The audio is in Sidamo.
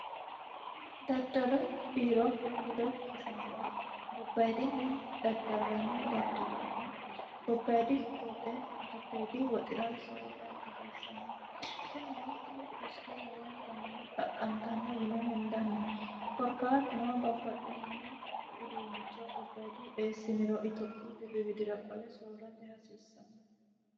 daddalu biiro ledo hasaambe gobbayidinni daddallanni daddalonna gobbaidi woxe giddeedi woxira soorra hasiissanno kunino tini kusike lowontanni xaqqantanno yine hendanni korkaatunoo bapaxxitino huduunnicho gobbaidi eessiniro itophiyu birriwidira qole soorrote hasiissanno